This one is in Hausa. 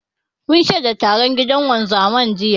Mun shaida taron gidan wanzaman, jiya.